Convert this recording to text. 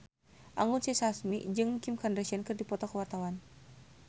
Anggun C. Sasmi jeung Kim Kardashian keur dipoto ku wartawan